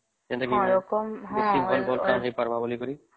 ଯେମିତିକି କି ଜଲ୍ଦି ଏମିତି ହେଇ ପାରିବ ବୋଲି